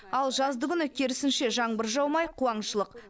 ал жаздыгүні керісінше жаңбыр жаумай қуаңшылық